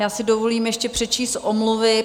Já si dovolím ještě přečíst omluvy.